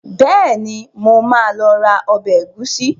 Bẹ́ẹ̀ni, mo máa lọ ra ọbẹ̀ ẹ̀gúsí.